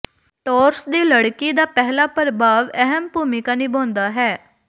Taurus ਦੀ ਲੜਕੀ ਦਾ ਪਹਿਲਾ ਪ੍ਰਭਾਵ ਅਹਿਮ ਭੂਮਿਕਾ ਨਿਭਾਉਂਦਾ ਹੈ